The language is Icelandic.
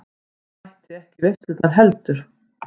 Mætti ekki í veislurnar heldur.